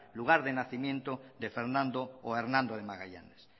lugar de nacimiento de fernando o hernando de magallanes